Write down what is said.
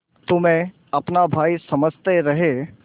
तुम्हें अपना भाई समझते रहे